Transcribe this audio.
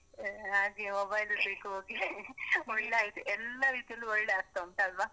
ಆ ಹಾಗೆ mobile ಇರ್ಲಿಕ್ಕ್ಹೋಗಿ ಒಳ್ಳೆ ಆಯ್ತ್, ಎಲ್ಲ ರೀತಿಲ್ಲು ಒಳ್ಳೆ ಆಗ್ತಾ ಉಂಟಲ್ವ.